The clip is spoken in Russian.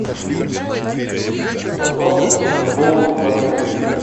подробности про боулинг в отеле